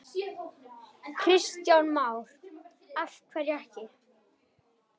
Kristján Már: Af hverju ekki?